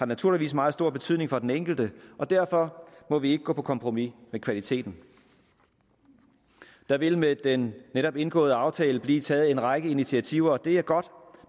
naturligvis meget stor betydning for den enkelte og derfor må vi ikke gå på kompromis med kvaliteten der vil med den netop indgåede aftale blive taget en række initiativer og det er godt